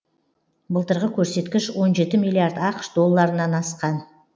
былтырғы көрсеткіш он жеті миллиард ақш долларынан асқан